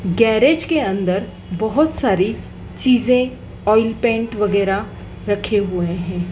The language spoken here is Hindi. गैरेज के अंदर बहोत सारी चीजें ऑयल पेंट वगैरा रखे हुए है।